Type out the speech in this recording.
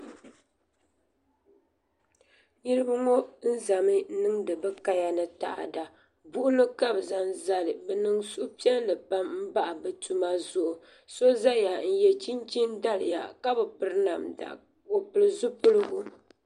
niraba ŋɔ ʒɛmi niŋdi bi kaya ni taada buɣuli ka bi zaŋ zali bi niŋ suhupiɛlli pam n bahi bi tuma zuɣu so ʒɛya n yɛ chinchin daliya ka bi piri namda o pili zipiligu